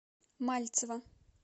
мальцева